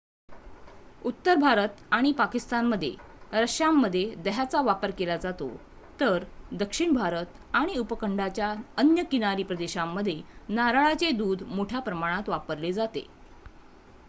उत्तर भारत आणि पाकिस्तानमध्ये रश्श्यांमध्ये दह्याचा वापर केला जातो तर दक्षिण भारत आणि उपखंडाच्या अन्य किनारी प्रदेशांमध्ये नारळाचे दूध मोठ्या प्रमाणावर वापरले जाते